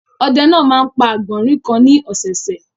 Ọdẹ náà máa ń pa àgbọ̀rìn kan ní ọ̀sẹ̀ẹ̀sẹ̀.